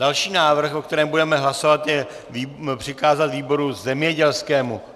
Další návrh, o kterém budeme hlasovat, je přikázat výboru zemědělskému.